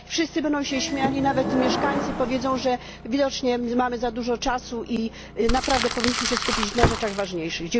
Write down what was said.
Wszyscy będą się śmiali, nawet mieszkańcy powiedzą, że widocznie mamy za dużo czasu i naprawdę powinniśmy się skupić na rzeczach ważniejszych.